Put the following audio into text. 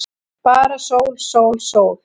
Bara sól, sól, sól.